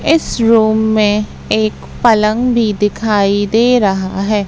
इस रूम में एक पलंग भी दिखाई दे रहा है।